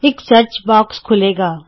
ਇਕ search box ਖੁੱਲੇਗਾ